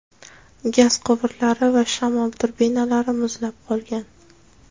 gaz quvurlari va shamol turbinalari muzlab qolgan.